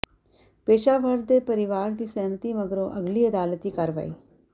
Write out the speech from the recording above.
ਪੇਸ਼ਾਵਰ ਦੇ ਪਰਿਵਾਰ ਦੀ ਸਹਿਮਤੀ ਮਗਰੋਂ ਅਗਲੀ ਅਦਾਲਤੀ ਕਾਰਵਾਈ